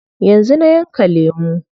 Yanzu na yanka lemu.